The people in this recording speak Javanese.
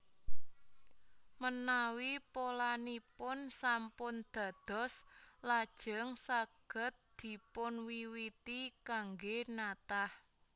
Menawi polanipun sampun dados lajeng saged dipunwiwiti kanggé natah